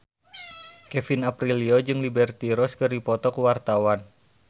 Kevin Aprilio jeung Liberty Ross keur dipoto ku wartawan